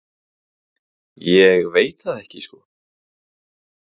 Ég veit það ekki sko.